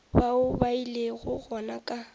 bao ba ilego gona ka